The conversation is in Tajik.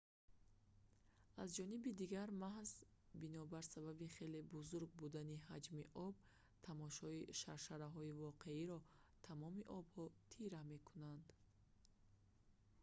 аз ҷониби дигар маҳз бинобар сабаби хеле бузург будани ҳаҷми об тамошои шаршараҳои воқеиро тамоми обҳо тира мекунанд